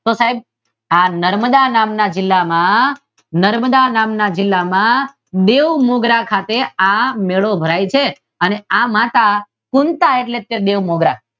તો સાહેબ આ નર્મદા નામના જીલ્લામાં નર્મદા નામના જીલ્લામાં બેઉ મુદ્રા ખાતે આ મેળો ભરાય છે આ માતા કુંતાં અહી છે એટલે મેળો ભરાય